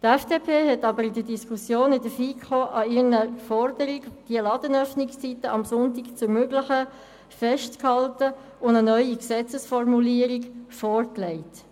Die FDP hat während der Diskussion in der FiKo an ihrer Forderung, die Ladenöffnungszeiten am Sonntag zu ermöglichen, festgehalten und eine neue Gesetzesformulierung vorgelegt.